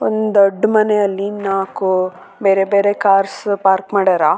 ಮುಂದುಗಡೆ ಹಸಿರು ಹುಲ್ಲುಗಳು ಕಾಣಿಸ್ತಾ ಇದೆ ಹಿಂದುಗಡೆ ದೊಡ್ಡ ದೊಡ್ಡ ಮರಗಳು ಕಾಣಿಸ್ತಾ ಇದೆ .